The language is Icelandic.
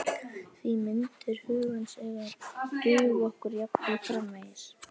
Því myndir hugans eiga að duga okkur jafnvel framvegis.